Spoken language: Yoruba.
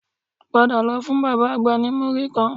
Padà lọ fún bàbá àgbà ní múrí kan